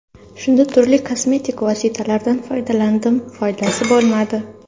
Shunda turli kosmetik vositalardan foydalandim; foydasi bo‘lmadi.